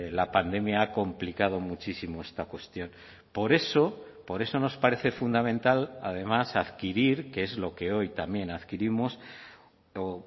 la pandemia ha complicado muchísimo esta cuestión por eso por eso nos parece fundamental además adquirir que es lo que hoy también adquirimos o